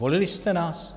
Volili jste nás?